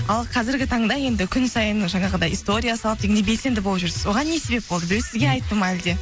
ал қазіргі таңда енді күн сайын жаңағыдай история салып дегендей белсенді болып жүрсіз оған себеп болды біреу сізге айтты ма әлде